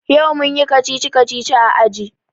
Yau mun yi kacici-kacici a aji.